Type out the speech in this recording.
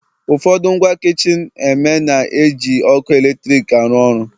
ụfọdụ ngwa kichin eme na-eji ọkụ eletrik arụ ọrụ